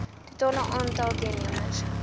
totale aantal deelnemers